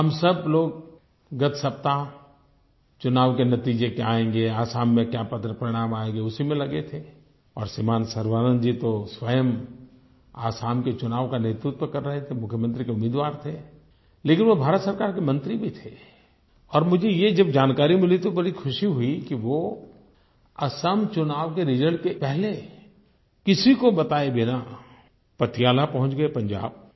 हम सब लोग गत सप्ताह चुनाव के नतीजे क्या आएँगे असम में क्या पत्र परिणाम आएँगे उसी में लगे थे और श्रीमान सर्बानन्द जी तो स्वयं असम के चुनाव का नेतृत्व कर रहे थे मुख्यमंत्री के उम्मीदवार थे लेकिन वो भारत सरकार के मंत्री भी थे और मुझे ये जब जानकारी मिली तो बड़ी ख़ुशी हुई कि वो असम चुनाव के रिजल्ट के पहले किसी को बताए बिना पटियाला पहुँच गए पंजाब